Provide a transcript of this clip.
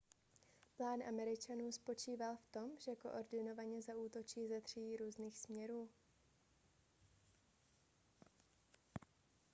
plán američanů spočíval v tom že koordinovaně zaútočí ze tří různých směrů